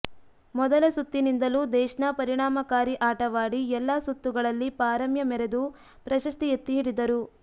ಮೊದಲ ಸುತ್ತಿನಿಂದಲೂ ದೇಶ್ನಾ ಪರಿಣಾಮಕಾರಿ ಆಟವಾಡಿ ಎಲ್ಲ ಸುತ್ತುಗಳಲ್ಲಿ ಪಾರಮ್ಯ ಮೆರೆದು ಪ್ರಶಸ್ತಿ ಎತ್ತಿ ಹಿಡಿದರು